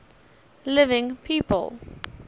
living people